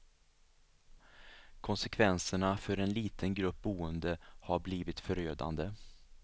Konsekvenserna för en liten grupp boende har blivit förödande.